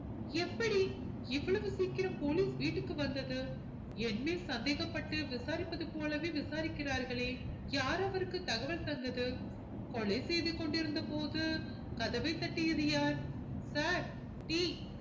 எப்படி இவ்வளவு சீக்கிரம் police வீட்டுக்கு வந்தது என்னை சந்தேகப்பட்டு விசாரிப்பது போலவே விசாரிக்கிறார்களே யார் அவருக்கு தகவல் தந்தது கொலை செய்து கொண்டிருந்தபோது கதவை தட்டியது யார் sir tea